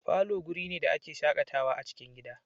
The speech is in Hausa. Falo guri ne da a ke shakatawa a cikin gida